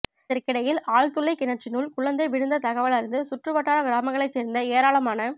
இதற்கிடையில் ஆழ்துளைக் கிணற்றினுள் குழந்தை விழுந்த தகவல் அறிந்து சுற்றுவட்டார கிராமங்களைச் சேர்ந்த ஏராளமான